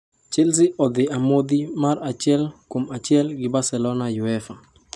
Chelsea odhi 1-1 gi Barcelona UEFA